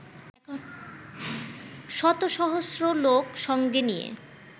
শতসহস্র লোক সঙ্গে নিয়ে